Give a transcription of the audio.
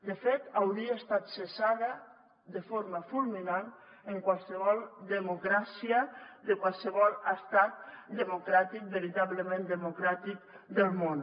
de fet hauria estat cessada de forma fulminant en qualsevol democràcia de qualsevol estat democràtic veritablement democràtic del món